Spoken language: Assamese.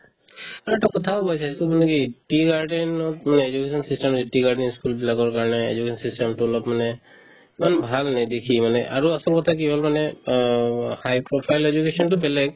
আৰু এটা কথাও হৈছে so মানে কি tea garden ত মানে education system এই tea garden ই school বিলাকৰ কাৰণে education system তো অলপ মানে ইমান ভাল নেদেখি মানে আৰু আচলতে কি হ'ল মানে অ high profile education তো বেলেগ